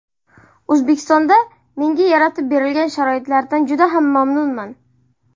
O‘zbekistonda menga yaratib berilgan sharoitlardan juda ham mamnunman.